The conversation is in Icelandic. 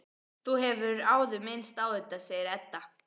Þú hefur áður minnst á þetta, segir Edda.